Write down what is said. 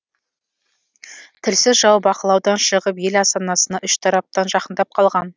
тілсіз жау бақылаудан шығып ел астанасына үш тараптан жақындап қалған